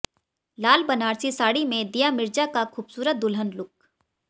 लाल बनारसी साड़ी में दिया मिर्जा का खूबसूरत दुल्हन लुक